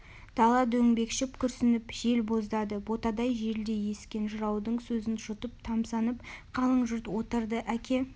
дала дөңбекшіп күрсініп жел боздады ботадай желдей ескен жыраудың сөзін жұтып тамсанып қалың жұрт отырды әке